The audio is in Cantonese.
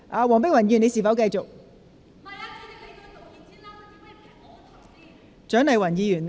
黃碧雲議員，你是否想繼續發言？